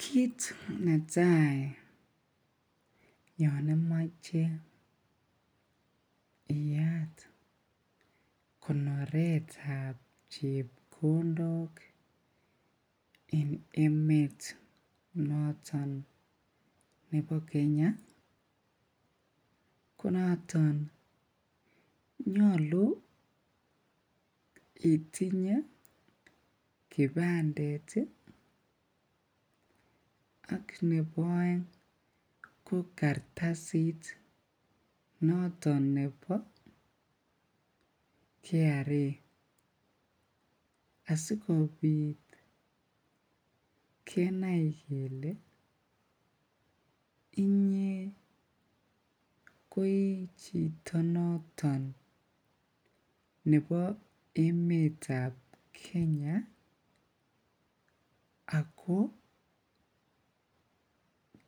Kiit netai yoon imoche iyaat konoretab chepkondok en emet noton nebo Kenya ko noton nyolu itinye kibandet ak nebo oeng ko kartasit noton nebo KRA asikobit kenai kelee ko ichito noton nebo emetab Kenya ak ko